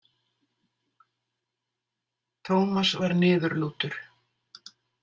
Tómas var niðurlútur.